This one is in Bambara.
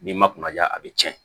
N'i ma kunnaja a bi cɛn